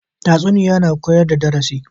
Tatsuniya na koyar da darasi